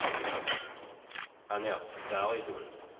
Annette Berglund